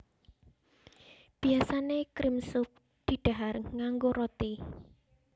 Biyasané cream soup didhahar nganggo roti